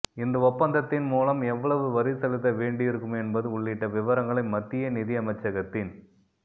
இந்த ஒப்பந்தத்தின் மூலம் எவ்வளவு வரி செலுத்த வேண்டியிருக்கும் என்பது உள்ளிட்ட விவரங்களை மத்திய நிதியமைச்சகத்தின்